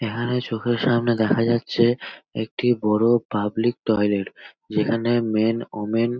এখানে চোখের সামনে দেখা যাচ্ছে একটি বড় পাবলিক টয়লেট যেখানে মেন ওমেন --